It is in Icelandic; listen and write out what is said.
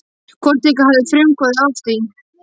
Hvort ykkar hafði frumkvæði að því?